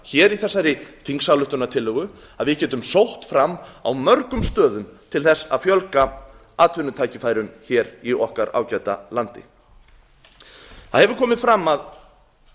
í þessari þingsályktunartillögu að við getum sótt fram á mörgum stöðum til að fjölga atvinnutækifærum í okkar ágæta landi það hefur komið fram að